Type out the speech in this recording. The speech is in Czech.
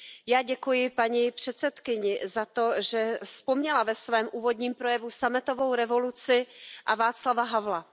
Já děkuji paní předsedkyni za to, že vzpomněla ve svém úvodním projevu sametovou revoluci a Václava Havla.